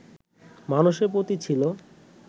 মানুষের প্রতি ছিল